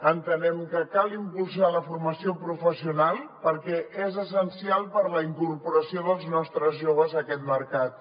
entenem que cal impulsar la formació professional perquè és essencial per a la incorporació dels nostres joves a aquest mercat